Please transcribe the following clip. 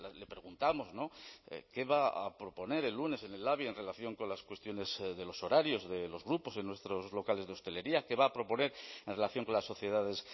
le preguntamos qué va a proponer el lunes en el labi en relación con las cuestiones de los horarios de los grupos en nuestros locales de hostelería qué va a proponer en relación con las sociedades